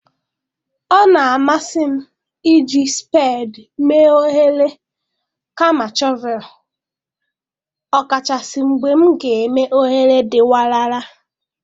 Ọ na-amasị m iji spedii mee oghere kama shọvel, ọkachasị mgbe m ga-eme oghere dị warara.